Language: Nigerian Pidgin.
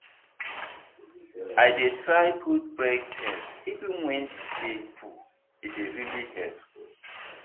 i dey try put break first even when the day full e dey really help.